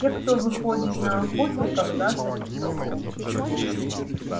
те кто выходит на охоту когда садится солнце